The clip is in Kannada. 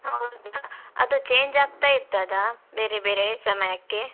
ಹೌದಾ? ಅದು change ಆಗ್ತಾ ಇರ್ತದಾ, ಬೇರೆ ಬೇರೆ ಸಮಯಕ್ಕೆ?